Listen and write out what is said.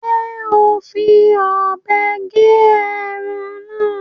Ṣe o n fí òbé gé ẹran náà?